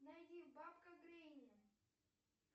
найди бабка гренни